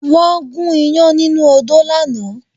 Wọ́n gún ìyán nínú odó lánàá